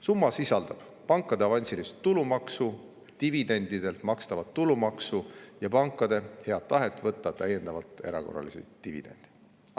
Summa sisaldab pankade avansilist tulumaksu, dividendidelt makstavat tulumaksu ja pankade head tahet võtta täiendavalt erakorraliselt dividende.